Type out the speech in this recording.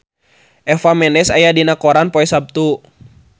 Eva Mendes aya dina koran poe Saptu